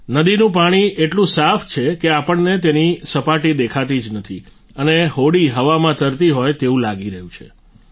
નદીનું પાણી એટલું સાફ છે કે આપણને તેની સપાટી દેખાતી જ નથી અને હોડી હવામાં તરતી હોય તેવું લાગી રહ્યું હોય છે